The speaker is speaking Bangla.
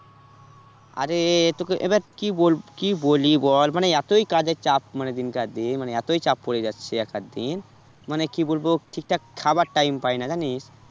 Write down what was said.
আরে তোকে এবার কি বলব কি বলি বল মানে এতই কাজের চাপ মানে দিনকার দিন মানে এতই চাপ পরে যাচ্ছে এক আধ দিন, মানে কি বলবো ঠিক ঠাক খাবার time পাইনা জানিস?